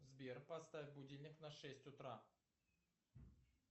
сбер поставь будильник на шесть утра